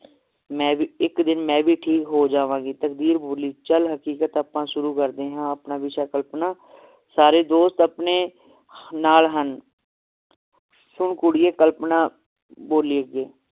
ਮੈ ਵੀ ਇਕ ਦਿਨ ਮੈ ਵੀ ਠੀਕ ਹੋ ਜਾਵਾਂਗੀ ਤਕਦੀਰ ਬੋਲੀ ਚੱਲ ਹਕੀਕਤ ਆਪਾਂ ਸ਼ੁਰੂ ਕਰਦੇ ਹਾਂ ਆਪਣਾ ਵਿਸ਼ਾ ਕਲਪਨਾ ਸਾਰੇ ਦੋਸਤ ਆਪਣੇ ਨਾਲ ਹਨ ਸੋ ਕੁੜੀਏ ਕਲਪਨਾ ਬੋਲੀ ਅੱਗੇ